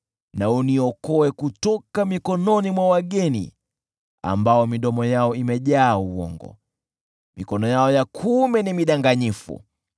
Nikomboe na uniokoe kutoka mikononi mwa wageni ambao vinywa vyao vimejaa uongo, na mikono yao ya kuume ni midanganyifu.